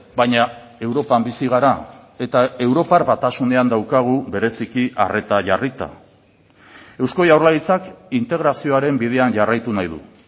baina europan bizi gara eta europar batasunean daukagu bereziki arreta jarrita eusko jaurlaritzak integrazioaren bidean jarraitu nahi du